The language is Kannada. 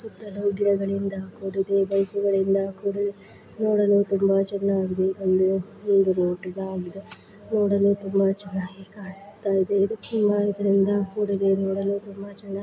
ಸುತ್ತಲೂ ಕೂಡಿದೆ ಬೈಕ್ ಗಳು ಇಂದ ಕೂಡಿದೆ ನೋಡಲು ತುಂಬಾ ಚೆನ್ನಾಗಿ ಇದೆ ಒಂದು ಒಂದು ನೋಟದ ಹಾಗೆ ಇದೆ ನೋಡಲು ತುಂಬಾ ಚೆನ್ನಾಗಿ ಕಾಣಿಸುತ್ತಾ ಇದೆ ಇದು ತುಂಬಾ ಇದರಿಂದ ಕೂಡಿದೆ ನೋಡಲು ತುಂಬಾ ಚೆನ್ನಾಗಿ.--